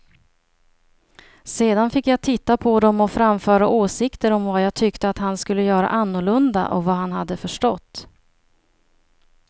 Sedan fick jag titta på dem och framföra åsikter om vad jag tyckte att han skulle göra annorlunda och vad han hade förstått.